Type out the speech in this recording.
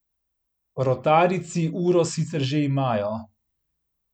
Rotarijci uro sicer že imajo.